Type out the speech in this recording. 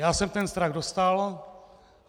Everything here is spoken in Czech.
Já jsem ten strach dostal.